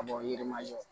Ka bɔ yiri ma jɔ